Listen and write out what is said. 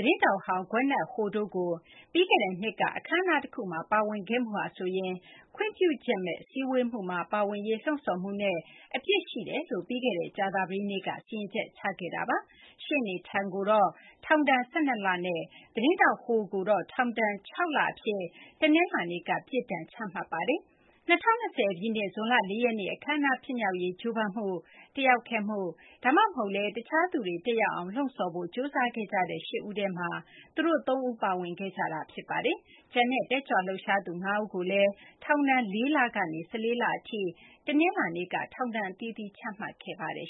သတင်းထောက်ဟောင်း Gwyneth Ho တို့ကို ပြီးခဲ့တဲ့နှစ်က အခမ်းအနား တခုမှာ ပါဝင်ခဲ့မှုဟာဆိုရင် ခွင့်ပြုချက်မဲ့ စည်းဝေးမှုမှာ ပါဝင်လာရေး လှုံ့ဆော်မှုနဲ့ အပြစ်ရှိကြောင်း ပြီးခဲ့တဲ့ ကြာသပတေးနေ့က စီရင်ချက် ချခဲ့တာပါ။ ရှေ့နေ Tung ကို ထောင်ဒဏ် ၁၂ လနဲ့ သတင်းထောက်ဟောင်း Ho ကိုတော့ ထောင်ဒဏ် ၆ လ အဖြစ် တနလာၤနေ့က ပြစ်ဒဏ် ချမှတ်ပါတယ်။ ၂၀၂၀ ပြည့်နှစ် ဇွန်လ ၄ ရက်နေ့ အခမ်းအနား ဖြစ်မြောက်ရေး ကြိုးပမ်းမှု၊ တက်ရောက်ခဲ့မှု ဒါမှမဟုတ်လည်း တခြားသူတွေ တက်ရောက်အောင် လှုံ့ဆော်ဖို့ ကြိုးစားခဲ့ကြတဲ့ ၈ ဦးထဲမှာ သူတို့ သုံးဦး ပါဝင်ခဲ့ကြတာ ဖြစ်ပါတယ်။ ကျန်တဲ့ တက်ကြွလှုပ်ရှားသူ ၅ ဦးကိုလည်း ထောင်ဒဏ် ၄ လ ကနေ ၁၄ လ အထိ တနလာၤနေ့က ထောင်ဒဏ် အသီးသီး ချမှတ်ခဲ့ပါတယ်